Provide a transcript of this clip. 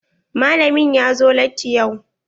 Malamin ya zo latti yau.